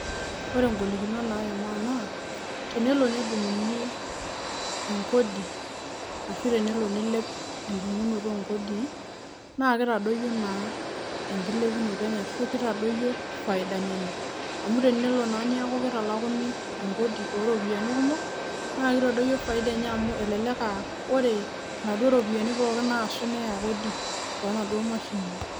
Ore ing'olikinot naimaa naa tenelo nedung'uni enkodi ashu tenelo niilep endung'unoto oo nkodii naake itadiyio naa enkilepunoto enye ashu kitadoyio faidani enye. Amu tenelo naa neeku kitalakuni enkodi o ropiani kumok naake itodoyio faida enye amu elelek aa ore inaduo ropiani naasu neya kodi too naduo mashinini.